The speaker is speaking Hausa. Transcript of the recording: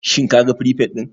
Shin kaga firifet din?